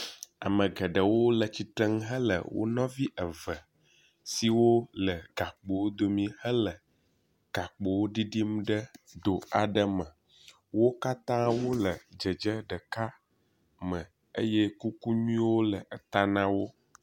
Ame geɖewo le tsitre nu hele wonɔvi eve siwo le gakpowo dome hele gakpowo ɖiɖim ɖe do aɖe me. Wo katã wole dzedze ɖeka me eye kuku nyuiewo le eta na wo.